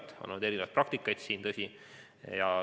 Neis on olnud erinevaid praktikaid, tõsi.